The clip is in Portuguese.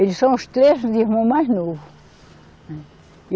Eles são os três irmãos mais novo, né.